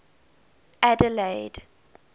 adelaide